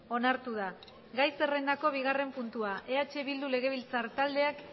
onartu da gai zerrendako bigarren puntua eh bildu legebiltzar taldeak